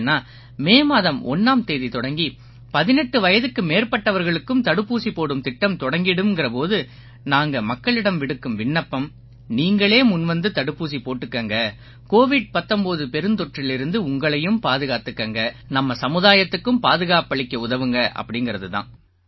ஏன்னா மே மாதம் 1ஆம் தேதி தொடங்கி 18 வயதுக்கு மேற்பட்டவர்களுக்கும் தடுப்பூசி போடும் திட்டம் தொடங்கிடும்ங்கற போது நாங்க மக்களிடம் விடுக்கும் விண்ணப்பம் நீங்களே முன்வந்து தடுப்பூசி போட்டுக்குங்க கோவிட் 19 பெருந்தொற்றிலிருந்து உங்களையும் பாதுகாத்துக்குங்க நம்ம சமுதாயத்துக்கும் பாதுகாப்பளிக்க உதவுங்க அப்படீங்கறது தான்